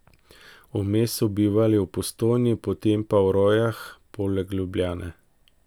Vmes so bivali v Postojni, potem pa v Rojah poleg Ljubljane.